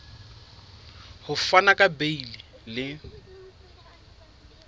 ho fana ka beile le